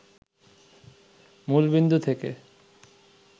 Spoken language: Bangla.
মূলবিন্দু থেকে